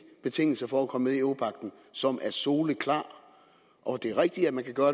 betingelser for at komme med i europagten som er soleklar det er rigtigt at man kan gøre